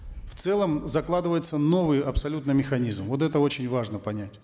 в целом закладывается новый абсолютно механизм вот это очень важно понять